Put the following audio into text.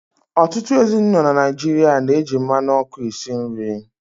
Ọtụtụ ezinụlọ na Naịjirịa na-eji mmanụ ọkụ esi nri.